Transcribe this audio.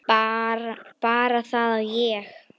Bara það að ég.